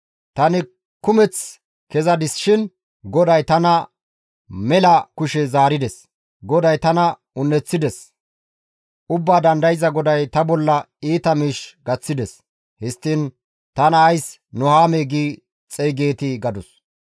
Tani kumeth kezadis shin GODAY tana mela kushe zaarides. GODAY tana un7eththides; Ubbaa Dandayza GODAY ta bolla iita miish gaththides. Histtiin tana ays Nuhaamee gi xeygeetii?» gadus.